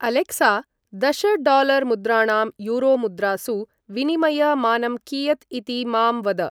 Alexa! दश dollar मुद्राणां euro मुद्रासु विनिमय मानं कियत् इति मां वद ।